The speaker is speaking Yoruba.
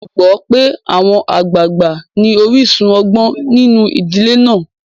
A gbàgbó pé àwọn àgbàgbà ní orísun ọgbọ́n nínu ìdílé náà.